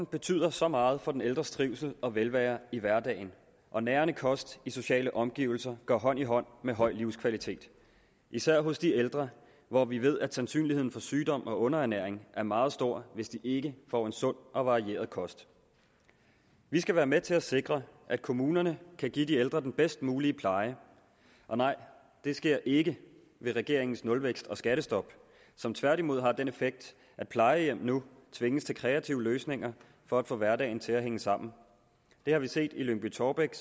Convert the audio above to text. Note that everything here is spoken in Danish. betyder så meget for den ældres trivsel og velvære i hverdagen og nærende kost i sociale omgivelser går hånd i hånd med høj livskvalitet især hos de ældre hvor vi ved at sandsynligheden for sygdom og underernæring er meget stor hvis de ikke får en sund og varieret kost vi skal være med til at sikre at kommunerne kan give de ældre den bedst mulige pleje og nej det sker ikke ved regeringens nulvækst og skattestop som tværtimod har den effekt at plejehjem nu tvinges til kreative løsninger for at få hverdagen til at hænge sammen det har vi set i lyngby taarbæk